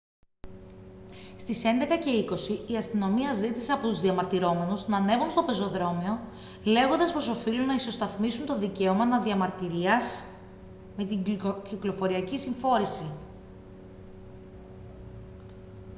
στις 11:20 η αστυνομία ζήτησε από τους διαμαρτυρόμενους να ανέβουν στο πεζοδρόμιο λέγοντας πως οφείλουν να ισοσταθμίσουν το δικαίωμα να διαμαρτυρίας με την κυκλοφοριακή συμφόρηση